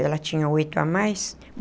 Ela tinha oito a mais.